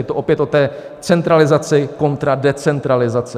Je to opět o té centralizaci kontra decentralizaci.